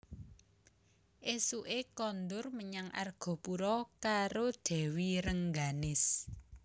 Ésuké kondur menyang Argapura karo Dèwi Rengganis